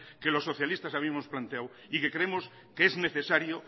que los socialistas habíamos planteado y que creemos que es necesario